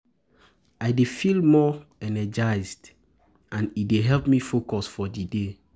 I dey feel more energized energized and alert, and e dey help me focus for di day.